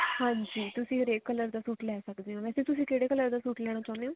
ਹਾਂਜੀ ਤੁਸੀਂ ਹਰੇਕ color ਦਾ ਸੂਟ ਲੈ ਸਕਦੇ ਹੋ ਵੇਸੇ ਤੁਸੀਂ ਕਿਹੜੇ color ਦਾ ਸੂਟ ਲੈਣਾ ਚਾਹੁੰਦੇ ਹੋ